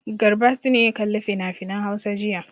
Garbati ne ya kalli finafinan Hausa jiya.